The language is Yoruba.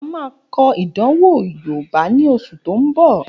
A máa kọ ìdánwò yoòbá ní oṣù tó n bọ̀